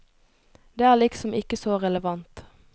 Det er liksom ikke så relevant.